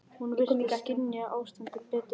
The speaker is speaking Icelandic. Hún virtist skynja ástandið betur en sonur minn.